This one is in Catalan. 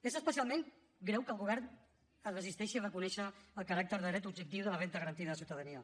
és especialment greu que el govern es resisteixi a reconèixer el caràcter de dret objectiu de la renda garantida de ciutadania